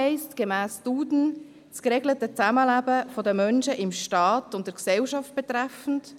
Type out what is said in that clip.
Gemäss «Duden» bedeutet «sozial»: das geregelte Zusammenleben der Menschen in Staat und Gesellschaft betreffend;